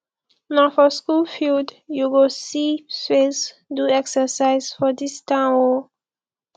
na for skool field you go see space do exercise for dis town o